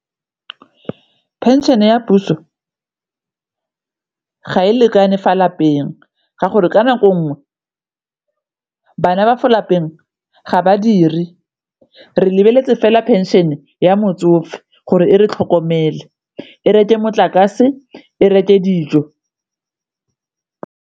Pension ya puso ga e lekane fa lapeng ka gore ka nako ngwe bana ba fo lapeng ga badiri re lebeletse fela pension-e ya motsofe gore e re tlhokomele, e reke motlakase, e reke dijo.